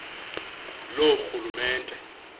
loorhulumente